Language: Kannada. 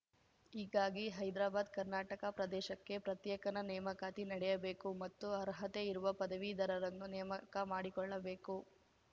ಹೀಗಾಗಿ ಹೈದ್ರಾಬಾದ್ಕರ್ನಾಟಕ ಪ್ರದೇಶಕ್ಕೆ ಪ್ರತ್ಯೇಕನ ನೇಮಕಾತಿ ನಡೆಯಬೇಕು ಮತ್ತು ಅರ್ಹತೆ ಇರುವ ಪದವೀಧರರನ್ನು ನೇಮಕ ಮಾಡಿಕೊಳ್ಳಬೇಕು